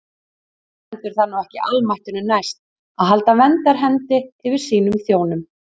Stendur það nú ekki almættinu næst að halda verndarhendi yfir sínum þjónum?